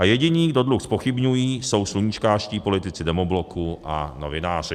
A jediní, kdo dluh zpochybňují, jsou sluníčkářští politici Demobloku a novináři.